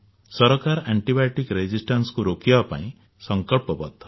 ସରକାର antibiotic resistance କୁ ରୋକିବା ପାଇଁ ସଙ୍କଳ୍ପବଦ୍ଧ